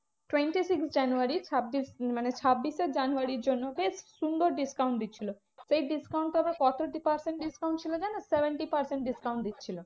Twenty-six জানুয়ারির ছাব্বিশ মানে ছাব্বিশে জানুয়ারির জন্য বেশ সুন্দর discount দিচ্ছিলো। সেই discount আবার কত percent discount ছিল জানো? seventy percent discount দিচ্ছিলো।